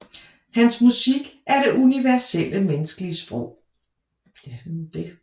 Hans musik er det universelle menneskelige sprog